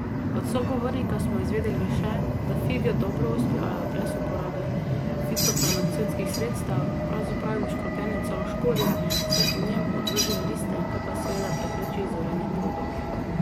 Od sogovornika smo izvedeli še, da fige dobro uspevajo brez uporabe fitofarmacevtskih sredstev, pravzaprav jim škropljenje celo škodi, saj po njem odvržejo listje, kar pa seveda prepreči zorenje plodov.